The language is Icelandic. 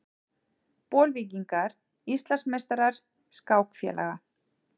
Bolvíkingar Íslandsmeistarar skákfélaga